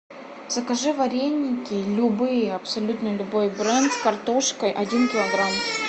закажи вареники любые абсолютно любой бренд с картошкой один килограмм